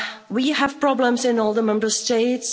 We have problems in all the Member States.